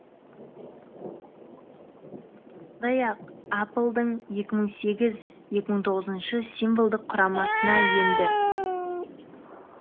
сондай ақ апл дың екі мың сегіз екі мың тоғызыншы символдық құрамасына енді